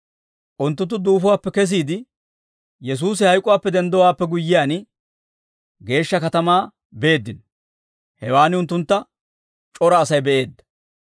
Unttunttu duufuwaappe kesiide, Yesuusi hayk'uwaappe denddowaappe guyyiyaan, geeshsha katamaa beeddino; hewaan unttuntta c'ora Asay be'eedda.